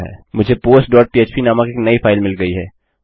मुझे postपह्प नामक एक नई फाइल मिल गई है